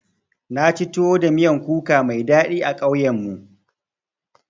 Naci tuwo da miyan kuka mai daɗi a ƙauyen mu.